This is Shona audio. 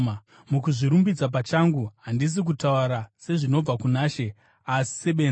Mukuzvirumbidza pachangu, handisi kutaura sezvinobva kuna She, asi sebenzi.